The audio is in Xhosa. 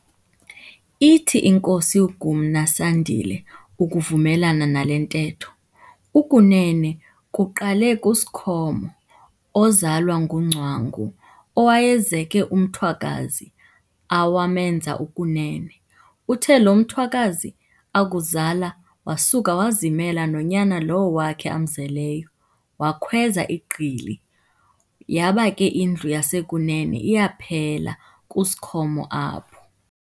Ithi inkosi uGumna Sandile ukuvumelana nale ntetho, ukunene kuqale kuSikhomo ozalwa nguNgcwangu, owayezeke umthwakazi awamenza ukunene. Uthe lo mthwakazi akuzala wasuka wazimela nonyana lowo wakhe amzeleyo, wakhweza iGqili, yaba ke indlu yasekunene iyaphela kuSikhomo apho.